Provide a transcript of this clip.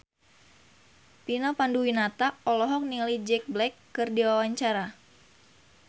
Vina Panduwinata olohok ningali Jack Black keur diwawancara